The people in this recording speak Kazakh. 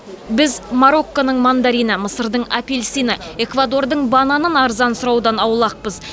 біз марокконың мандарині мысырдың апельсині эквадордың бананын арзан сұраудан аулақпыз